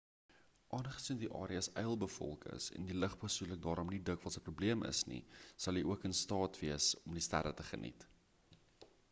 aangesien die areas yl bevolk is en lig besoedeling daarom nie dikwels 'n problem is nie sal jy ook in staat wees om die sterre te geniet